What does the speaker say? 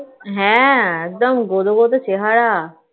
হ্যাঁ, একদম গদো, গদো চেহারা